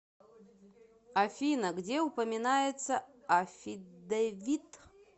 афина где упоминается аффидевит